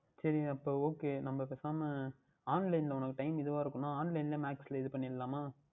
சரி அப்பொழுது Ok நாம் பேசாமல் Online உனக்கு Time இதுவாக இருக்கும் என்றால் Online லையே Max யில் இது பண்ணிவிடலாமா